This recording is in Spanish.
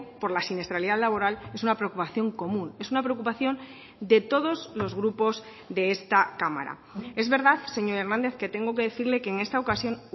por la siniestralidad laboral es una preocupación común es una preocupación de todos los grupos de esta cámara es verdad señor hernández que tengo que decirle que en esta ocasión